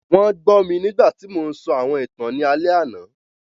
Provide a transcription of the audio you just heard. Wọn gbọ mi nigbati mo ńsọ awọn ìtan ni alẹ ana.